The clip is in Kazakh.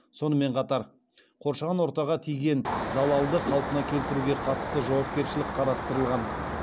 сонымен қатар қоршаған ортаға тиген залалды қалпына келтіруге қатысты жауапкершілік қарастырылған